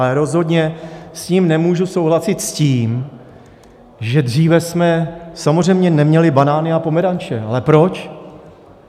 Ale rozhodně s ním nemůžu souhlasit v tom, že - dříve jsme samozřejmě neměli banány a pomeranče, ale proč?